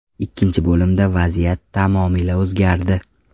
Ikkinchi bo‘limda vaziyat tamomila o‘zgardi.